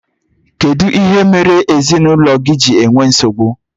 Kedụ ihe mere ezinaụlọ gị ji ewee nsogbu?